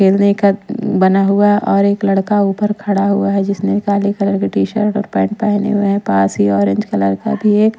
खेलने का बना हुआ और एक लड़का ऊपर खड़ा हुआ है जिसने काले कलर की टी शर्ट और पैंट पेहने हुए है पास ही ऑरेंज कलर का भी एक--